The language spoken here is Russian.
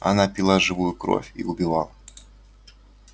она пила живую кровь и убивала